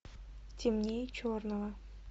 темнее черного